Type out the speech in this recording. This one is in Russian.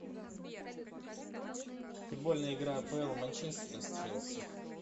футбольная игра апл манчестера с челси